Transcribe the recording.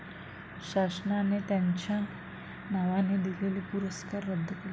शासनाचे त्यांच्या नावाने दिलेले पुरस्कार रद्द केले.